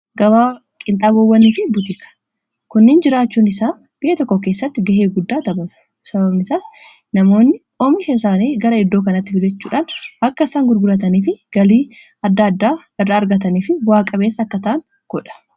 gabaa qinxabowwanii fi butika kunnin jiraachuun isaa byya tokko keessatti ga'ee guddaa tabatu sababnisaas namoonni oomisheeisaanii gara iddoo kanatti fijechuudhaan akka isaan gurgulataniif galii aaa argataniif bu'aaqabeessa akkataan godha